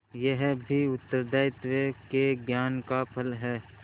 यह भी उत्तरदायित्व के ज्ञान का फल है